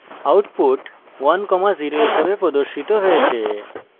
output 10 হিসাবে প্রদর্শিত হয়েছে